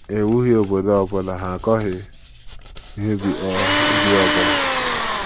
Ha ewughị obodo ọ bụla; ha akọghị ihe ubi ọ ubi ọ bụla.